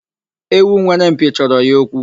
Ewu nwere mpi chọrọ ya okwu.